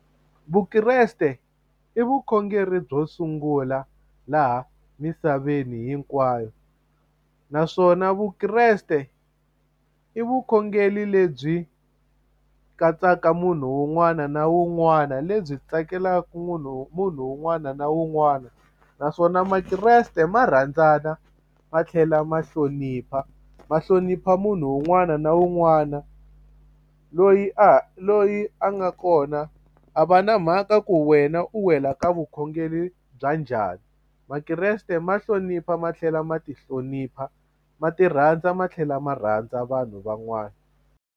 Vukreste i vukhongeri byo sungula laha misaveni hinkwayo naswona vukreste i vukhongeri lebyi katsaka munhu wun'wana na wun'wana lebyi tsakelaka munhu munhu un'wana na un'wana naswona makreste ma rhandzana ma tlhela ma hlonipha ma hlonipha munhu un'wana na un'wana loyi a loyi a nga kona a va na mhaka ku wena u wela ka vukhongeri bya njhani makreste ma hlonipha ma tlhela ma ti hlonipha ma ti rhandza ma tlhela ma rhandza vanhu van'wana.